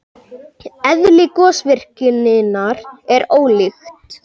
Eðli gosvirkninnar er ólíkt.